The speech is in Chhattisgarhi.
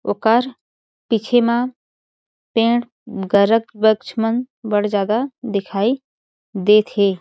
ओकर पीछे म पेड़ अम्म गरक वृक्ष मन बड़ ज्यादा दिखाई देत हे।